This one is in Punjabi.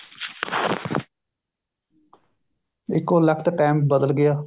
ਇੱਕੋ ਲੱਖਤ time ਬਦਲ ਗਿਆ